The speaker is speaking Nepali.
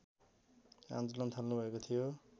आन्दोलन थाल्नुभएको थियो